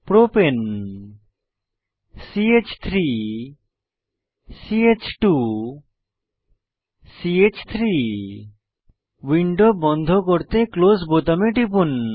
প্রপাণে ch3 ch2 চ3 window বন্ধ করতে ক্লোজ বোতামে টিপুন